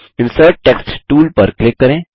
insert text tool पर click करें